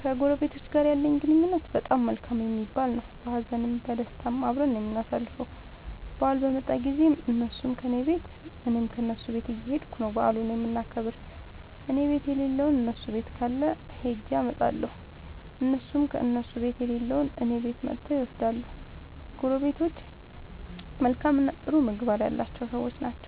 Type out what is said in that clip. ከጎረቤቶቸ ጋር ያለኝ ግንኙነት በጣም መልካም የሚባል ነዉ። በሀዘንም በደስታም አብረን ነዉ የምናሣልፈዉ በአል በመጣ ጊዜም እነሡም ከኔ ቤት እኔም ከነሡ ቤት እየኸድኩ ነዉ በዓሉን የምናከብር እኔቤት የለለዉን እነሡ ቤት ካለ ኸጀ አመጣለሁ። እነሡም ከእነሡ ቤት የሌለዉን እኔ ቤት መጥተዉ ይወስዳሉ። ጎረቤቶቸ መልካምእና ጥሩ ምግባር ያላቸዉ ሠዎች ናቸዉ።